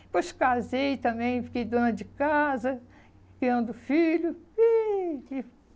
Depois casei também, fiquei dona de casa, criando filho. Ih